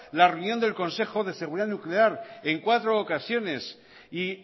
la reunión del consejo de seguridad nuclear en cuatro ocasiones y